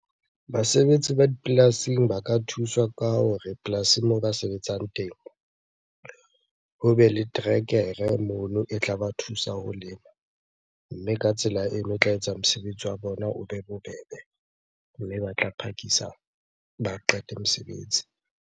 Basebetsi ba dipolasing ba ka thuswa ka hore polasing moo ba sebetsang teng, hobe le terekere mono e tla ba thusa ho lema. Mme ka tsela eno e tla etsa mosebetsi wa bona o be bobebe, mme ba tla phakisa ba qete mesebetsi.